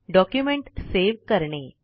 document save करणे